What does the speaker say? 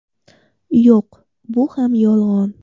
Yo‘q, bu ham yolg‘on.